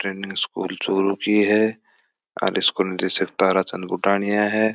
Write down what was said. Training school Churu की है इसको निदेशक ताराचंद बुड़ानिया है।